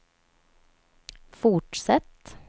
fortsätt